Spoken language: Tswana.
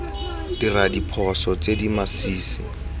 dira diphoso tse di masisi